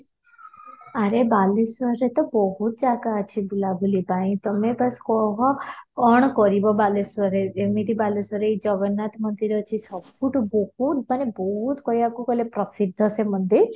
ଆରେ ବାଲେଶ୍ୱରରେ ତ ବହୁତ ଜାଗା ଅଛି ବୁଲାବୁଲି ପାଇଁ ତମେ ବାସ କହ କ'ଣ କରିବ ବାଲେଶ୍ୱରରେ, ଏମିତି ବାଲେଶ୍ୱରରେ ଜଗନ୍ନାଥ ମନ୍ଦିର ଅଛି ସବୁଠୁ ବହୁତ ମାନେ ବହୁତ କହିବାକୁ ଗଲେ ପ୍ରସିଦ୍ଧ ସେ ମନ୍ଦିର